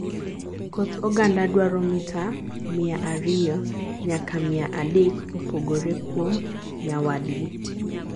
koth oganda dwaro mita mia ariyo nyaka mia adek kopogore kuom nyawadgi